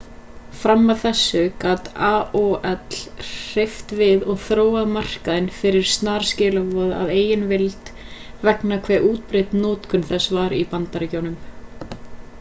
fram að þessu gat aol hreyft við og þróað markaðinn fyrir snarskilaboð að eigin vild vegna hve útbreidd notkun þess var í bandaríkjunum